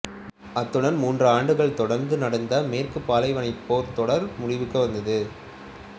அத்துடன் மூன்று ஆண்டுகள் தொடர்ந்து நடந்த மேற்குப் பாலைவனப் போர்தொடர் முடிவுக்கு வந்தது